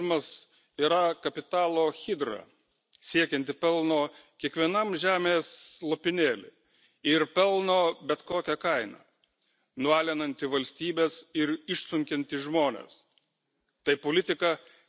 Visuomenei primetamas globalizmas yra kapitalo hidra, siekianti pelno kiekvienam žemės lopinėly ir pelno bet kokia kaina, nualinanti valstybes ir išsunkianti žmones.